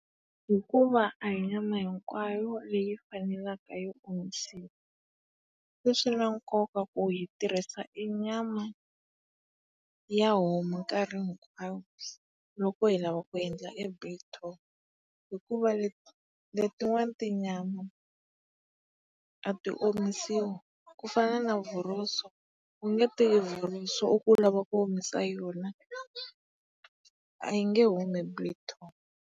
Hikuva a hi nyana hinkwayu leyi faneleke yi omisiwa. Se swi na nkoka ku hi tirhisa e nyama ya homu nkarhi hinkwawo loko hi lava ku endla e biltong hikuva letin'wana tinyama a ti omisiwi. Ku fana na vhoroso, u nge teki vhoroso u ku u lava ku omisa yona. A yi nge humi biltong.